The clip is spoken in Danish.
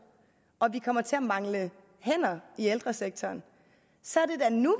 og at vi kommer til at mangle hænder i ældresektoren så er det da nu